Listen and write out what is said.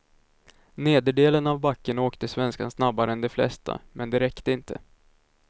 Nederdelen av backen åkte svenskan snabbare än de flesta, men det räckte inte.